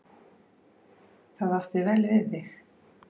Það átti vel við þig.